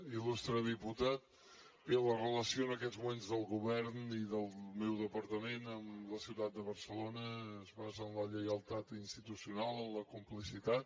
ilbé la relació en aquests moments del govern i del meu departament amb la ciutat de barcelona es basa en la lleialtat institucional en la complicitat